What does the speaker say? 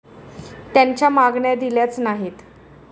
त्यांच्या मागण्या दिल्याच नाहीत.